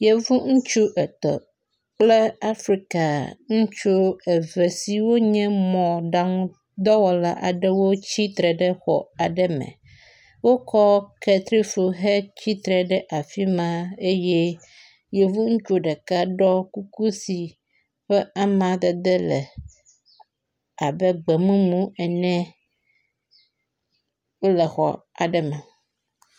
Yevu ŋutsu etɔ̃ kple afrika ŋutsu eve siwo nye mɔɖaŋu dɔwɔla aɖewo wotsi tre ɖe xɔ aɖe me. Wokɔ kletsifu hetsitre ɖe afi ma eye yevu ŋutsu ɖeka ɖɔ kuku si ƒe amadede le abe gbe mumu ene wole xɔ aɖe me.